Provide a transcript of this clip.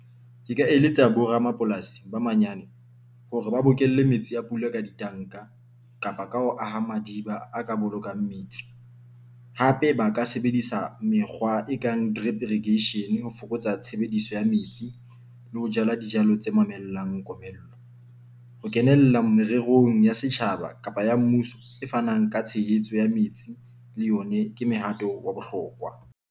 Ke ka eletsa bo ramapolasi ba manyane hore ba bokelle metsi a pula ka ditanka, kapa ka ho aha madiba a ka bolokang metsi. Hape ba ka sebedisa mekgwa e kang drip irrigation ho fokotsa tshebediso ya metsi le ho jala dijalo tse mamellang komello. Ho kenella mererong ya setjhaba kapa ya mmuso e fanang ka tshehetso ya metsi. Le yone ke mehato wa bohlokwa.